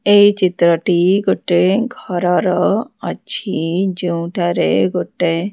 ଏହି ଚିତ୍ରଟି ଗୋଟେ ଘରର ଅଛି ଯେଉଁଠାରେ ଗୋଟେ।